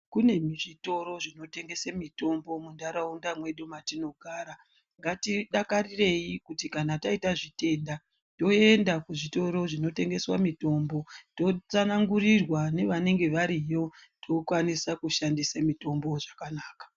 kune zvitoro zvinotengese mitombo munharaunda mwedu matinogara ngatidakarireyi kuti kana taite zvitenda toenda kuzvitoro zvinotengeswe mitombo totsanangurirwa nevanenge variyo tokwanise kushandise mitombo zvakanaka.